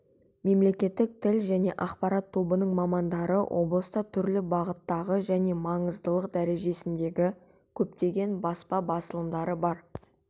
мемлекеттік тіл және ақпарат тобының мамадары облыста түрлі бағыттағы және маңыздылық дәрежесіндегі көптеген баспа басылымдары бар